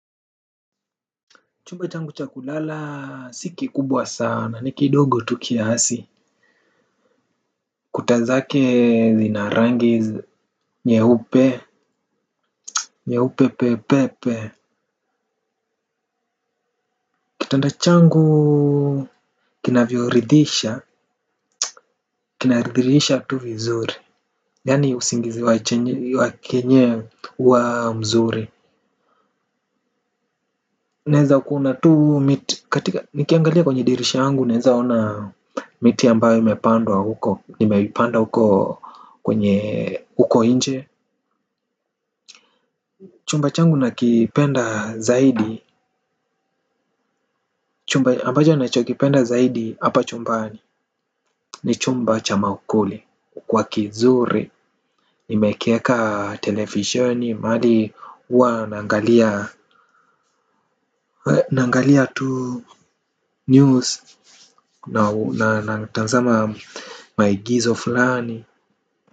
Chumba changu cha kulala si kikubwa sana ni kidogo tu kiasi. Kuta zake zina rangi nyeupe nyeupe pepepe. Kitanda changu kinavyoridhisha. Kinaridhisha tu vizuri. Yani usingizi wa kenyewe huwa mzuri. Naeza kuona tu. Nikiangalia kwenye dirisha yangu naeza ona miti ambayo imepandwa huko nimepanda huko kwenye huko nje. Chumba changu nakipenda zaidi. Chumba ambacho nachokipenda zaidi hapa chumbani ni chumba cha maukuli kwa kizuri. Nimekieka televisheni mahali huwa nangalia tu news na natazama maigizo fulani.